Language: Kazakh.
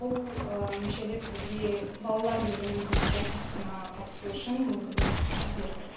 бұл мүшелік бізге балалар евровидение конкурсына қатысу үшін мүмкіндік берді